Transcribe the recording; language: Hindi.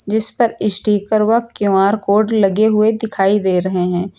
जिसपर स्टीकर वह क्यू_आर कोड लगे हुए दिखाई दे रहे हैं।